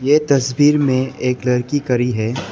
ये तस्वीर में एक लड़की करी है।